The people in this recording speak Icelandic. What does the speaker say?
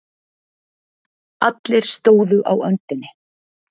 Allir stóðu á öndinni.